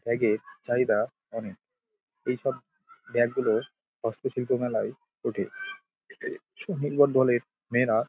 bag -এর চাহিদা অনেক | এই সব ব্যাগ -গুলো হস্তশিল্প মেলায় ওঠে | মেয়েরা--